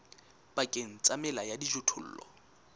pakeng tsa mela ya dijothollo